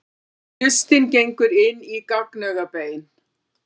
Hlustin gengur inn í gagnaugabein.